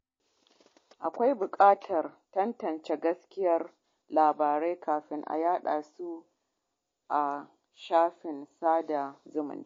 Akwai bukatar tantance gaskiyar labarai kafin a yada su a shafukan sada zumunta.